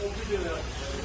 Qoyun, qoyun bura.